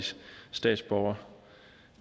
statsborger